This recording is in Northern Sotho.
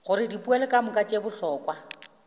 gore dipoelo kamoka tše bohlokwa